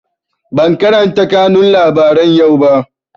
Ban karanta kanun labaran yau ba